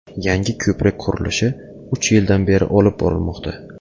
Yangi ko‘prik qurilishi uch yildan beri olib borilmoqda.